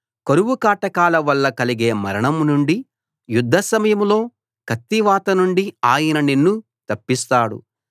కరువుకాటకాల వల్ల కలిగే మరణం నుండి యుద్ధ సమయంలో కత్తివాత నుండి ఆయన నిన్ను తప్పిస్తాడు